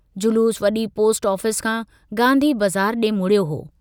जलूस वडी post office खां गांधी बज़ार डे मुड़ियो हो।